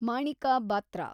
Manika Batra